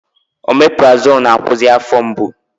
Omeprazolụ na-akwụsị afọ mgbu